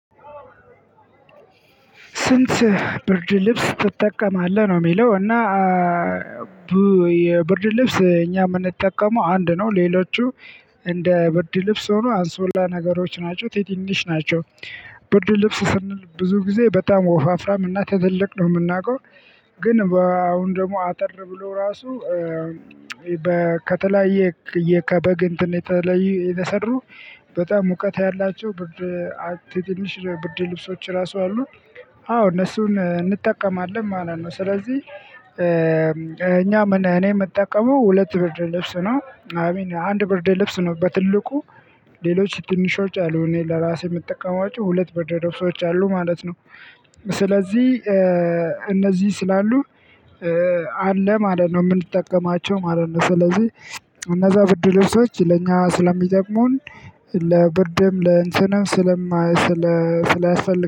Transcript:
ስንት? ብርድ ልብስ ትጠቀማለህ ነው የሚለው እና የብርድ ልብስ እኛ የምንጠቀመው አንድ ነው ሌሎቹ እንደ ብርድ ልብስ ሆኖ አንሶላ ነገሮች ናቸው። ትንሽ ናቸው። ብርድ ልብስ ስንል ብዙ ጊዜ በጣም ወፋፍራም እና ትልልቅ ነው የምናውቀው። ግን አሁን ደግሞ አጠር ብሎ ራሱ ከተለያየ ከበግ እንትን የተለዩ የሰሩ በጣም ሙቀት ያላቸው ብርድ። ትንሽ ብርድ ልብሶች ራሱ አሉ። አዎ እነሱን እንጠቀማለን ማለት ነው። ስለዚህ እኛ እኔ የምጠቀመው ሁለት ብርድ ልብስ ነው አይሚን አንድ ብርድ ልብስ ነው። በትልቁ። ሌሎች ትንሽ ወጪ አሉ እኔ ለራሴ የምጠቀማቸው ሁለት ብርድ ደርሶች አሉ ማለት ነው። ስለዚህ እነዚህ ስላሉ አለ ማለት ነው የምንጠቀማቸው ማለት ነው። ስለዚህ እነዛ ብርድ ልብሶች ለእኛ ስለሚጠቅሙን ለብርድም ለእንትንም ስለማይ ስለ ስለሚያስፈልጉ